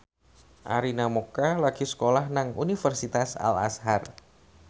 Arina Mocca lagi sekolah nang Universitas Al Azhar